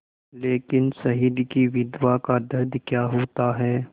लेकिन शहीद की विधवा का दर्द क्या होता है